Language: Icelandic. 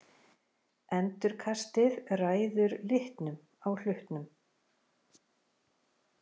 Endurkastið ræður litnum á hlutnum.